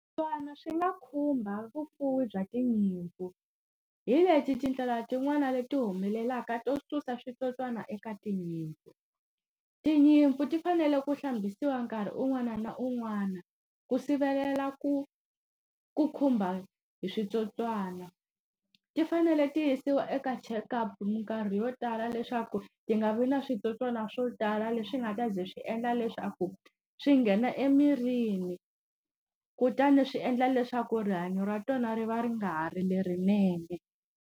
Switsotswana swi nga khumba vufuwi bya tinyimpfu. Hi leti tindlela tin'wana leti humelelaka to susa switsotswana eka tinyimpfu. Tinyimpfu ti fanele ku hlambisiwa nkarhi un'wana na un'wana, ku sivelela ku ku khumba hi switsotswana. Ti fanele ti yisiwa eka checkup minkarhi yo tala leswaku ti nga vi na switsotswana swo tala leswi nga ta ze swi endla leswaku, swi nghena emirini kutani swi endla leswaku rihanyo ra tona ri va ri nga ha ri lerinene.